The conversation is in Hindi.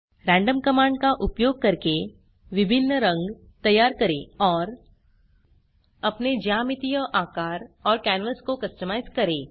रैंडम कमांड का उपयोग करके विभिन्न रंग तैयार करें और अपने ज्यामितीय आकार और कैनवास को कस्टमाइज करें